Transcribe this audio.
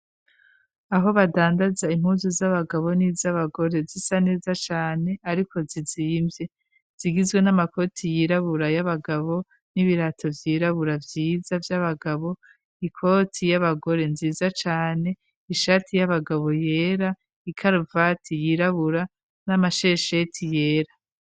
Aho badandaza impuzu z'abagabo n'iz'abagore zisa neza cane, ariko ziziyimvye. Zigizwe: n'amakoti yirabura y'abagabo, n'ibirato vyirabura vyiza vy'abagabo, ikoti y'abagore nziza cane, ishati y'abagabo yera, ikaruvati yirabura, n'amashesheti yera.